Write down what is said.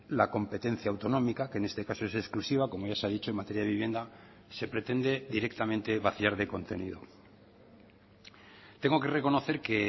la competencia autonómica que en este caso es exclusiva como ya se ha dicho en materia de vivienda se pretende directamente vaciar de contenido tengo que reconocer que